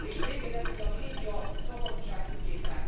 És végezetül a médiaszabadság ügyében.